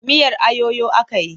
Miyar ayoyo aka yi.